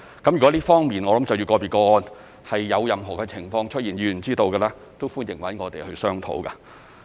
如果在這方面，就着個別個案有任何情況出現而議員是知道的，都歡迎與我們商討。